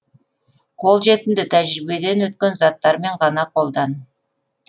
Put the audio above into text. қолжетімді тәжірибеден өткен заттармен ғана қолдан